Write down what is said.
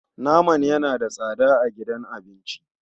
Naman yana da tsada a gidan abinci.